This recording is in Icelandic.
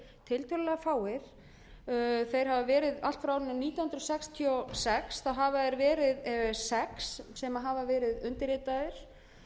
tiltölulega fáir þeir hafa verið allt frá árinu nítján hundruð sextíu og sex þá hafa þeir verið sex sem hafa verið undirritaðir